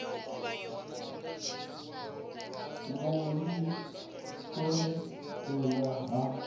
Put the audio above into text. vhuvhi u kon elelana ha